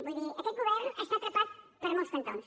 vull dir aquest govern està atrapat per molts cantons